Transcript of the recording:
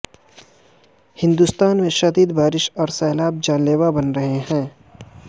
ہندوستان میں شدید بارشیں اور سیلاب جان لیوا بن رہے ہیں